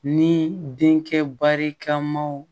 Ni denkɛ barikamaw